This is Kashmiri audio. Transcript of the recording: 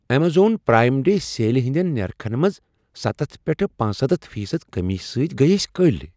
ایمیزون پرائم ڈے سیلِہ ہٕندین نرخن منز سَتتَھ پیٹھہٕ پنژٔسَتتھ فی صد کمۍ سۭتۍ گٔیۍ أسۍ کٔلۍ